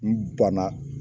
N bana